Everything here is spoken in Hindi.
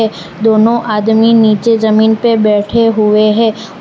दोनों आदमी नीचे जमीन पे बैठे हुए हैं और--